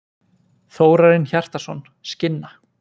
Þórarinn Hjartarson, Skinna.